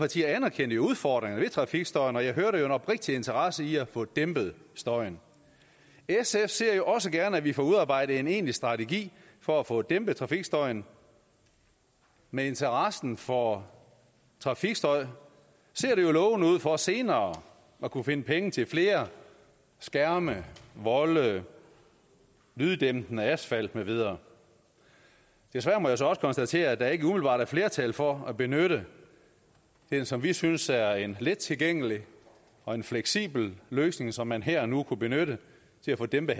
partier anerkendte udfordringen ved trafikstøjen og jeg hører det oprigtig interesse i at få dæmpet støjen sf ser jo også gerne at vi får udarbejdet en egentlig strategi for at få dæmpet trafikstøjen med interessen for trafikstøj ser det jo lovende ud for senere at kunne finde penge til flere skærme volde lyddæmpende asfalt med videre desværre må jeg så også konstatere at der ikke umiddelbart er flertal for at benytte det som vi synes er en let tilgængelig og en fleksibel løsning som man her og nu kunne benytte til at få dæmpet